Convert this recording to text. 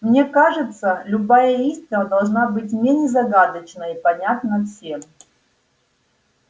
мне кажется любая истина должна быть менее загадочна и понятна всем